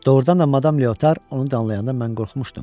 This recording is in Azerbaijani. Doğrudan da madam Leotar onu danlayanda mən qorxmuşdum.